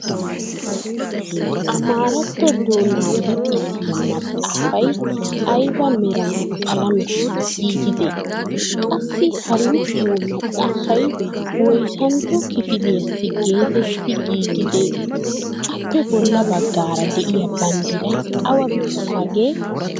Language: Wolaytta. Amaaratto doonaa luxisiyaa maxaafay ayba meran qalametti giigidee? qassi ha luxiyoo maxaafay woyssantto kifiliyaassi geetetti giigidee? appe bolla baggaara de'iyaa banddiray awa biittaagee?